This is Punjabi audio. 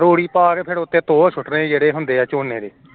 ਰੂੜੀ ਪਾ ਕੇ ਉੱਤੇ ਤੋਹ ਸੁੱਟਣੇ ਜੇਹੜੇ ਹੁੰਦੇ ਏ ਝੋਨੇ ਦੇ